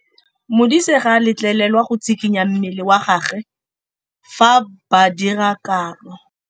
Modise ga a letlelelwa go tshikinya mmele wa gagwe fa ba dira karô.